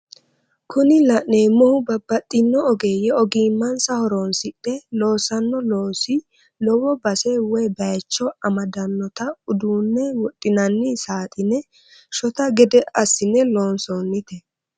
Kuni la'neemohu babbaxino ogeeyye ogimmansa horonsidhe loossanno loosi lowo base woye bayiicho amaddannota uduunne wodhinanni saadhine shota gede assine loonsoonite.